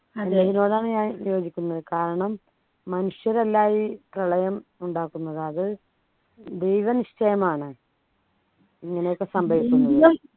ഇതിനോടാണ് ഞാൻ യോജിക്കുന്നത് കാരണം മനുഷ്യരല്ല ഈ പ്രളയം ഉണ്ടാക്കുന്നത് അത് ദൈവനിശ്ചയമാണ് ഇങ്ങനെയൊക്കെ സംഭവിക്കണം എന്നുള്ളത്